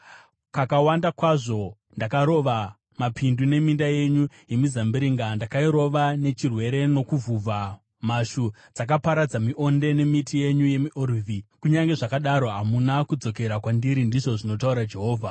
“Kakawanda kwazvo ndakarova mapindu neminda yenyu yemizambiringa, ndakairova nechirwere nokuvhuvha. Mhashu dzakaparadza mionde nemiti yenyu yemiorivhi, kunyange zvakadaro hamuna kudzokera kwandiri,” ndizvo zvinotaura Jehovha.